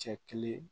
Cɛ kelen